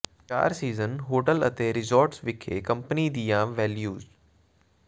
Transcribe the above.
ਚਾਰ seasons hotel ਅਤੇ resorts ਵਿਖੇ ਕੰਪਨੀ ਦੀਆਂ ਵੈਲਯੂਜ